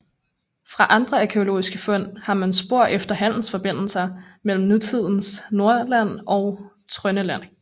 Fra andre arkæologiske fund har man spor efter handelsforbindelser mellem nutidens Nordland og Trøndelag